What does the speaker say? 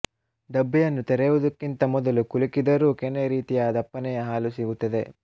ಡಬ್ಬಿಯನ್ನು ತೆರೆಯುವುದಕ್ಕಿಂತ ಮೊದಲು ಕುಲುಕಿದರೂ ಕೆನೆರೀತಿಯ ದಪ್ಪನೆಯ ಹಾಲು ಸಿಗುತ್ತದೆ